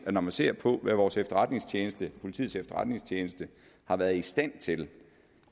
at når man ser på hvad vores efterretningstjeneste politiets efterretningstjeneste har været i stand til